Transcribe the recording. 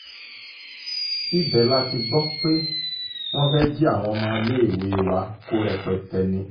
ibẹ̀ la ti gbọ́ pé wọ́n fẹ́ẹ́ jí àwọn ọmọléèwé wa kó rẹpẹtẹ ni